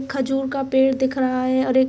खजूर का पेड़ दिख रहा है और एक--